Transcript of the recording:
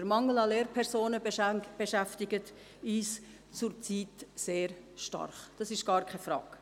Der Mangel an Lehrpersonen beschäftigt uns zurzeit sehr stark, das ist gar keine Frage.